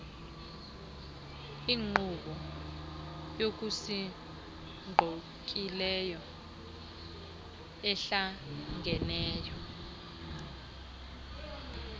inkqubo yokusingqongileyo ehlangeneyo